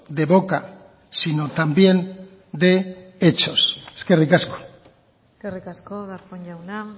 de boca sino también de hechos eskerrik asko eskerrik asko darpón jauna